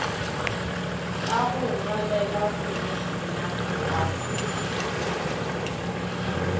ka go ngwalela khomošenare wa